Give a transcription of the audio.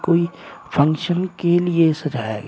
कोई फंक्शन के लिए सजाया गया--